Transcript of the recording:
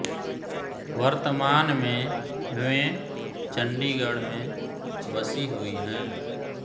वर्तमान में वें चंडीगढ़ में बसी हुई हैं